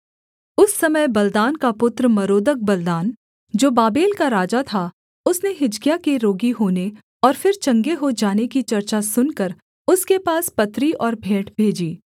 उस समय बलदान का पुत्र मरोदक बलदान जो बाबेल का राजा था उसने हिजकिय्याह के रोगी होने और फिर चंगे हो जाने की चर्चा सुनकर उसके पास पत्री और भेंट भेजी